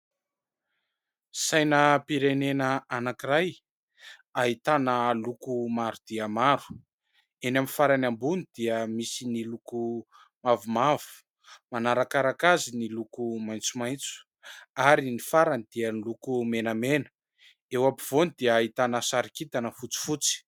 Sainam-pirenena anankiray ahitana loko maro dia maro : eny amin'ny farany ambony dia misy ny loko mavomavo, manarakaraka azy ny loko maitsomaitso ary ny farany dia ny loko menamena, eo ampovoany dia ahitana sary kintana fotsifotsy.